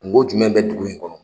Kungo jumɛn bɛ dugu in kɔnɔ.